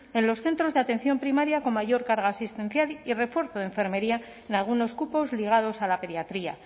en los centros de atención primaria con mayor carga asistencial y refuerzo de enfermería en algunos cupos ligados a la pediatría